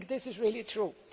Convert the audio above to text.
I think that is really true.